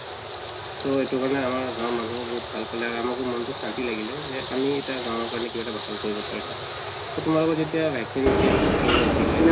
so এইটো কাৰণে মানুহে আমাৰ কাম বহুত ভাল পালে আমাৰো বহুত শান্তি লাগিলে আমি কিবা গাওঁৰ কাৰণে কিবা এটা ভাল কৰিব পাৰিছো তোমালোকৰ যেতিয়া vaccine camp হৈ আছিলে